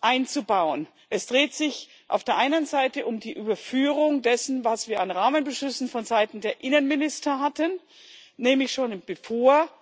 einzubauen. Es dreht sich auf der einen Seite um die Überführung dessen, was wir an Rahmenbeschlüssen vonseiten der Innenminister hatten, nämlich schon bevor